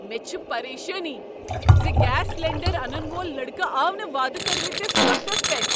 مےٚ چھِ پریشٲنی ز گیس سلنڈر انن وول لڈكہٕ آو نہٕ واعدٕ كرِمٕتِس وقتس پیٹھ ۔